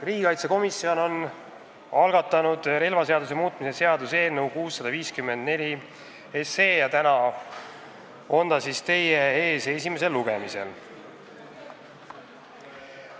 Riigikaitsekomisjon on algatanud relvaseaduse muutmise seaduse eelnõu 654 ja täna on see teie ees esimesel lugemisel.